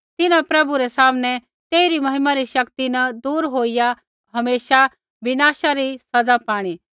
तिन्हां प्रभु रै सामनै तेइरी महिमा रै शक्ति न दूर होईया हमेशा विनाशा री सज़ा पाणी